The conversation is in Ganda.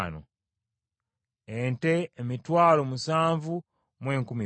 Ente, emitwalo musanvu mu enkumi bbiri (72,000).